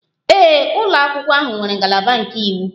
Ee, ụlọ akwụkwọ ahụ nwere ngalaba nke iwu.